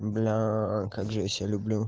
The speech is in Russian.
блять как же я себя люблю